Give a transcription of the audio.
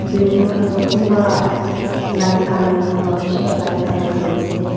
building khan tu kunba light colour khan para bisi para light colour khan--